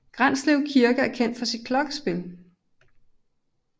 Granslev Kirke er kendt for sit klokkespil